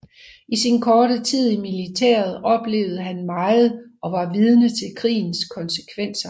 I sin korte tid i militæret oplevede han meget og var vidne til krigens konsekvenser